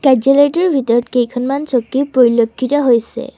কাৰ্যালয়টোৰ ভিতৰত কেইখনমান চকী পৰিলক্ষিত হৈছে।